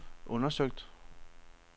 undersøgt